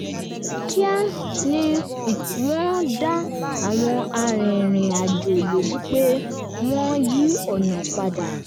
kíá ni wọ́n dá àwọn arìnrìnàjò lójú pé wọ́n yí ọ̀nà padà